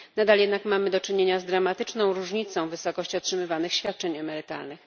Nadal jednak mamy do czynienia z dramatyczną różnicą w wysokości otrzymywanych świadczeń emerytalnych.